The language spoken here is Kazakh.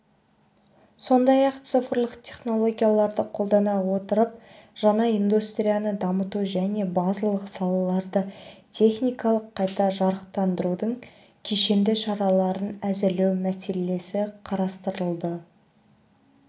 сондай-ақ цифрлық технологияларды қолдана отырып жаңа индустрияны дамыту және базалық салаларды техникалық қайта жарақтандырудың кешенді шараларын әзірлеу мәселелері қарастырылды